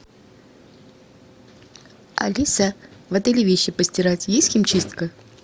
алиса в отеле вещи постирать есть химчистка